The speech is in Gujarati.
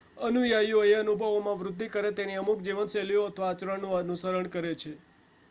અનુયાયીઓ એ અનુભવોમાં વૃદ્ધિ કરે તેવી અમુક જીવનશૈલીઓનું અથવા આચરણનું અનુસરણ કરે છે